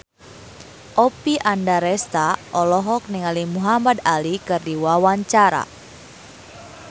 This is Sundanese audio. Oppie Andaresta olohok ningali Muhamad Ali keur diwawancara